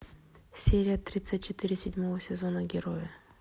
серия тридцать четыре седьмого сезона герои